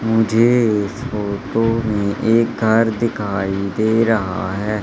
मुझे इस फोटो में एक कार दिखाई दे रहा है।